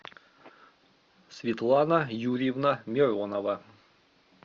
светлана юрьевна миронова